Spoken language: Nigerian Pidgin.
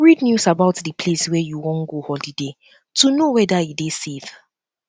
read news about um di place wey you um wan go holiday um to know weda e dey safe